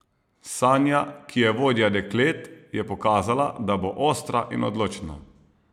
Sanja, ki je vodja deklet, je pokazala, da bo ostra in odločna.